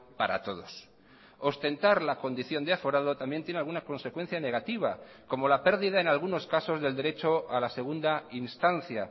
para todos ostentar la condición de aforado también tiene alguna consecuencia negativa como la pérdida en algunos casos del derecho a la segunda instancia